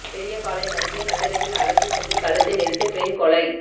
பெரியபாளையம் அருகே நள்ளிரவில் அழைத்து சென்று கழுத்தை நெரித்து பெண் கொலை